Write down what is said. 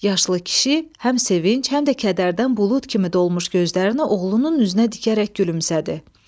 Yaşlı kişi həm sevinc, həm də kədərdən bulud kimi dolmuş gözlərini oğlunun üzünə dikərək gülümsədi.